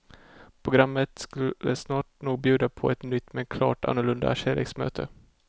Programmet skulle snart nog bjuda på ett nytt men klart annorlunda kärleksmöte.